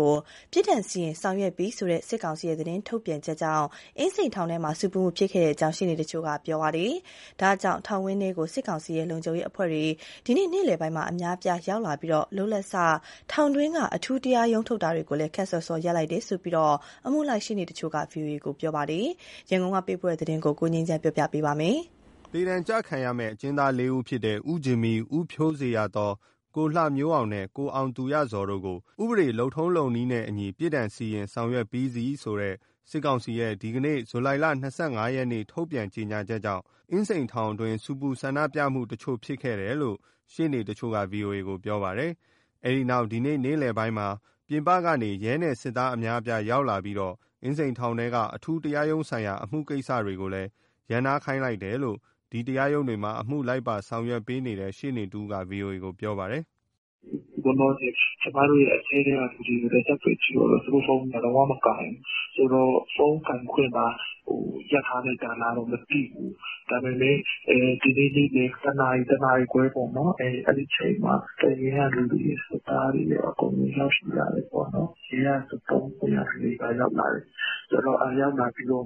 ကို 'ပြစ်ဒဏ်စီရင် ဆောင်ရွက်ပြီး' ဆိုတဲ့ စစ်ကောင်စီရဲ့ သတင်းထုတ်ပြန်ချက်ကြောင့် အင်းစိန်ထောင်ထဲမှာ ဆူပူမှုဖြစ်ခဲ့တယ်လို့ ရှေ့နေတချို့က ပြောပါတယ်။ ဒါကြောင့် ထောင်ဝင်းထဲကို စစ်ကောင်စီရဲ့ လုံခြုံရေးအဖွဲ့တွေ ဒီနေ့ နေ့လည်ပိုင်းမှာ အများအပြားရောက်လာပြီး လုပ်လက်စ ထောင်တွင်းက အထူးတရားရုံးထုတ်တွေကိုလည်း ခပ်စောစော ရပ်နားလိုက်ရတယ်လို့ အမှုလိုက်ရှေ့နေတချို့က ဗွီအိုအေ ကို ပြောပါတယ်။ ရန်ကုန်ကပေးပို့တဲ့ ဒီသတင်းကိုတော့ ကိုငြိမ်းချမ်းက တင်ပြပေးထားပါတယ်။ သေဒဏ်ကျခံရမယ့် အကျဉ်းသားလေးဦးဖြစ်တဲ့ ဦးဂျင်မီ၊ ဦးဖြိုးဇေယျာသော်၊ ကိုလှမျိုးအောင်နဲ့ ကိုအောင်သူရဇော်တို့ကို “ဥပဒေ လုပ်ထုံးလုပ်နည်းနဲ့အညီ ပြစ်ဒဏ် စီရင် ဆောင်ရွက်ပြီးစီး” ဆိုတဲ့ စစ်ကောင်စီရဲ့ ဒီနေ့ ဇူလိုင်၂၅ ရက် ထုတ်ပြန်ချက်ကြောင့် အင်းစိန် အကျဉ်းထောင်ထဲမှာ ဆူပူ ဆန္ဒပြမှုတချို့ ဖြစ်ခဲ့တယ်လို့ ရှေ့နေတချို့က ဗွီအိုအေကို ပြောပါတယ်။ အဲဒီနောက် ဒီနေ့နေ့လည်ပိုင်းမှာ ပြင်ပကနေ ရဲနဲ့စစ်သားအများအပြား ရောက်လာပြီး အင်းစိန်ထောင်ထဲက အထူးတရားရုံးဆိုင်ရာ အမှုကိစ္စတွေကိုလည်း ရပ်နားခိုင်းလိုက်တယ်လို့ ဒီတရားရုံးတွေမှာ အမှုလိုက်ပါဆောင်ရွက်ပေးနေတဲ့ ရှေ့နေတဦးက ဗွီအိုအေကို ပြောပါတယ်။ "အခုလောလောဆယ် ကျမတို့ရဲ့အထဲကလူတွေကို ဆက်သွယ်ကြည့်တော့လည်း ဖုန်းတွေက လုံးဝမကိုင်ဘူး။ ဆိုတော့ ဖုန်းကိုင်ခွင့်ပါ ရပ်ထားလိုက်တာလားတော့ မသိဘူး။ ဒါပေမယ့် ဒီနေ့နေ့လည် တနာရီ၊ တနာရီခွဲပေါ့နော် အဲဒီအချိန်မှာ တပ်ရင်း ကလူတွေ၊ စစ်သားတွေရော အကုန်ရောက်လာတယ်ပေါ့နော်။ ရဲကဆို သုံးပွင့်ကလူတွေပါ ရောက်လာတယ်။ ဆိုတော့ ရောက်လာပြီးတော့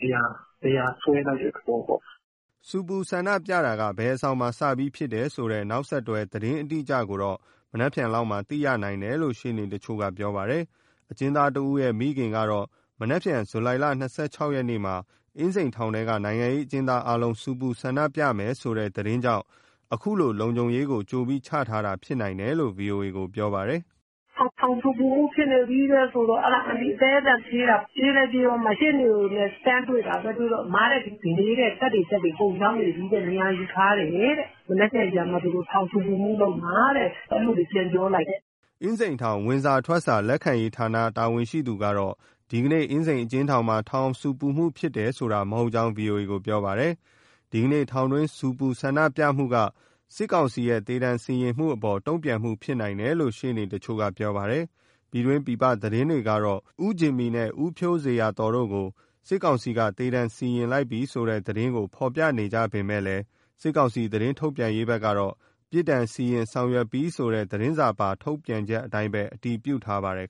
နေရာစွဲလိုက်တဲ့သဘောပေါ့။” ဆူပူဆန္ဒပြတာက ဘယ်အဆောင်မှာစပြီးဖြစ်တယ် ဆိုတဲ့ နောက်ဆက်တွဲ သတင်းအတိအကျကိုတော့ မနက်ဖြန်လောက်မှာ သိရနိုင်တယ်လို့ ရှေ့နေတချို့ကပြောပါတယ်။ အကျဉ်းသားတဦးရဲ့ မိခင်ကတော့ မနက်ဖြန် ဇူလိုင်လ၂၆ ရက်မှာ အင်းစိန်ထောင်ထဲက နိုင်ငံရေးအကျဉ်းသား အားလုံး ဆူပူဆန္ဒပြမယ်ဆိုတဲ့သတင်းကြောင့် အခုလိုလုံခြုံရေးကို ကြိုပြီး ချထားတာဖြစ်နိုင်တယ်လို့ ဗွီအိုအေကို ပြောပါတယ်။ "ထောင်ဆူပူမှုဖြစ်နေပြီဆိုတော့ အဲဒါ အန်တီ အသည်းအသန်ပြေးတာ၊ အဲဒီမှာ ရှေ့နေနဲ့ တန်းတွေ့တာပဲ။ အမ-တဲ့၊ ဒီနေ့တပ်တွေ၊ တပ်တွေ အကုန်ရောက်နေပြီတဲ့။ နေရာယူထားတယ်တဲ့။ မနက်ဖြန်ကျမှ ထောင်ဆူပူမှုလုပ်မှာတဲ့။ အဲလိုလေး ပြန်ပြောလိုက်တယ်။" အင်းစိန်အကျဉ်းထောင် ဝင်စာ၊ ထွက်စာ လက်ခံရေးဌာနက တာဝန်ရှိသူတော့ ဒီနေကနေ့ အင်းစိန်အကျဉ်းထောင်မှာ ထောင်ဆူပူမှု ဖြစ်တယ်ဆိုတာ မဟုတ်ကြောင်း ဗွီအိုအေကိုပြောပါတယ်။ ဒီထောင်တွင်းဆူပူ၊ ဆန္ဒပြမှုက စစ်ကောင်စီရဲ့ သေဒဏ်စီရင်မှုအပေါ် တုံ့ပြန်မှုဖြစ်နိုင်တယ်လို့ ရှေ့နေတချို့ကပြောပါတယ်။ ပြည်တွင်း၊ ပြည်ပသတင်းတွေကတော့ ဦးဂျင်မီနဲ့ ဦးဖြိုးဇေယျာသော်တို့ကို စစ်ကောင်စီက သေဒဏ်စီရင်လိုက်ပြီဆိုတဲ့ သတင်းကို ဖော်ပြနေကြပေမယ့် စစ်ကောင်စီ သတင်းထုတ်ပြန်ရေးဘက်ကတော့ 'ပြစ်ဒဏ်စီရင် ဆောင်ရွက်ပြီး' ဆိုတဲ့ သတင်းစာပါ ထုတ်ပြန်ချက်အတိုင်းပဲ အတည်ပြုထားပါတယ်